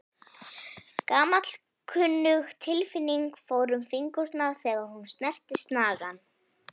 Gamalkunnug tilfinning fór um fingurna þegar hún snerti snagann.